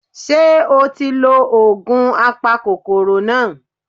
Ṣé o ti lo ògùn apakòkòrò náà